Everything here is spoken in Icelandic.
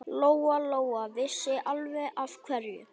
Lóa-Lóa vissi alveg af hverju.